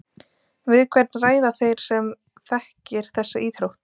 Við hvern ræða þeir sem þekkir þessa íþrótt?